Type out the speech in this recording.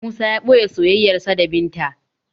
Musa yana boye soyayyarsa da binta